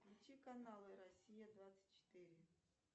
включи каналы россия двадцать четыре